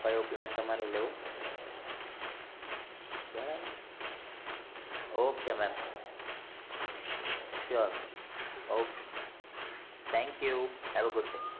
કયો plan તમારે લેવો બરાબર ok mem sure thenk you